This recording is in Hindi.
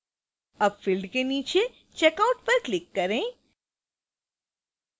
अब field के नीचे checkout पर click करें